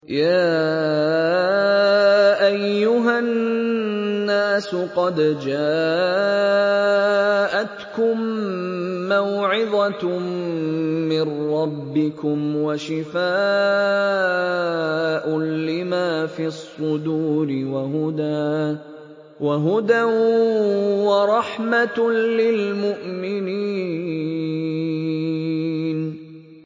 يَا أَيُّهَا النَّاسُ قَدْ جَاءَتْكُم مَّوْعِظَةٌ مِّن رَّبِّكُمْ وَشِفَاءٌ لِّمَا فِي الصُّدُورِ وَهُدًى وَرَحْمَةٌ لِّلْمُؤْمِنِينَ